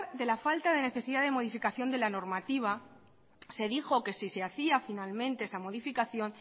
de la falta de modificación de la normativa se dijo que si se hacía finalmente esa modificación